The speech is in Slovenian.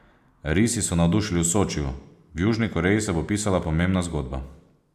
Risi so navdušili v Sočiju, v Južni Koreji se bo pisala pomembna zgodba.